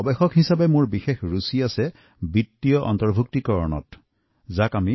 গৱেষক হিচাপে আৰ্থিক অন্তৰ্ভূক্তি বিষয়ত মোৰ বিশেষ আগ্ৰহ আছে